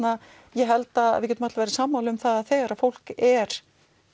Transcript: ég held að við getum öll verið sammála um það að þegar fólk er